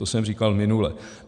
To jsem říkal minule.